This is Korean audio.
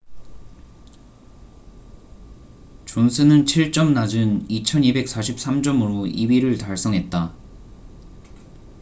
존슨은 7점 낮은 2,243점으로 2위를 달성했다